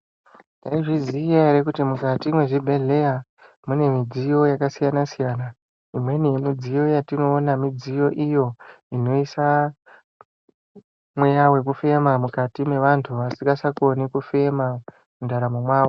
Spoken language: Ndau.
Taizviziya ere kuti mukati mwezvibhedhleya mune midziyo yakasiyana siyana, imweni yemidziyo yatinoona midziyo iyo inoisa mweya wekufema mukati mwevantu vasingachakoni kufema mundaramo mwavo.